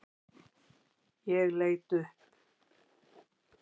Ég leit upp.